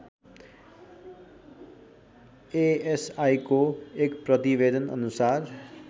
एएसआइको एक प्रतिवेदनअनुसार